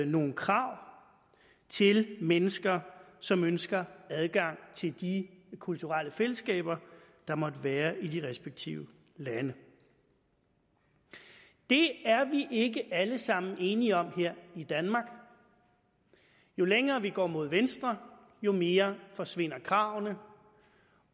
nogle krav til mennesker som ønsker adgang til de kulturelle fællesskaber der måtte være i de respektive lande det er vi ikke alle sammen enige om her i danmark jo længere vi går mod venstre jo mere forsvinder kravene